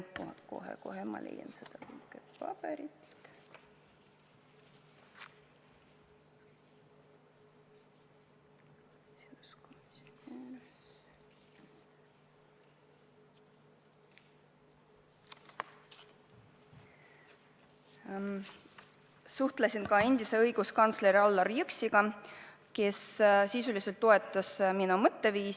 Ma suhtlesin ka endise õiguskantsleri Allar Jõksiga, kes sisuliselt toetas minu mõtteviisi.